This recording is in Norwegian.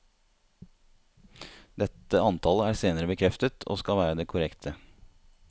Dette antallet er senere bekreftet, og skal være det korrekte.